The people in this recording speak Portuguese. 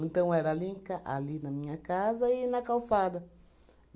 Então, era ali em ca ali na minha casa e na calçada.